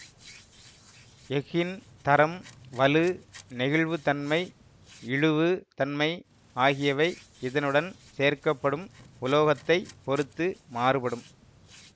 எஃகின் தரம் வலு நெகிழ்வுத்தன்மை இழுவு தன்மை ஆகியவை இதனுடன் சேர்க்க படும் உலோகத்தைப் பொறுத்து மாறுபடும்